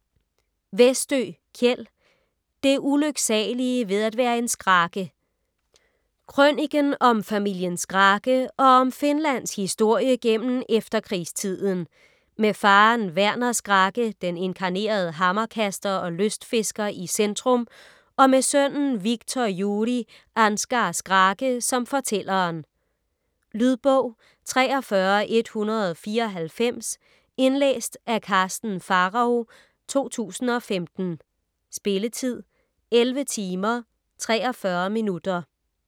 Westö, Kjell: Det ulyksalige ved at være en Skrake Krøniken om familien Skrake og om Finlands historie gennem efterkrigstiden, med faderen Werner Skrake, den inkarnerede hammerkaster og lystfisker i centrum, og med sønnen Wiktor Juri Ansgar Skrake som fortælleren. Lydbog 43194 Indlæst af Karsten Pharao, 2015. Spilletid: 11 timer, 43 minutter.